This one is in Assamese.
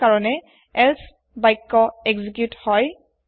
হেয় কাৰনে এলছে বাক্য এক্সিকিউত হয়